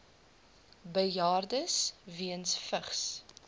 bejaardes weens vigs